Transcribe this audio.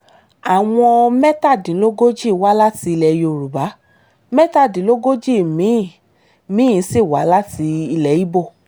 àwọn mẹ́tàdínlógójì wá láti ilẹ̀ yorùbá mẹ́tàdínlógójì mi-ín mi-ín sì wá láti ilẹ̀ ibo